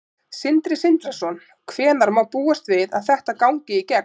Sindri Sindrason: Hvenær má búast við að þetta gangi í gegn?